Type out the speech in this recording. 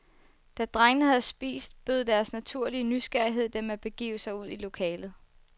Da drengene havde spist, bød deres naturlige nysgerrighed dem at begive sig ud i lokalet.